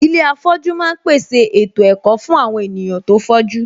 Ilé afọ̀jú ma ń pèsè ètò ẹ̀kọ́ fún àwon ènìyàn tó fọ́jú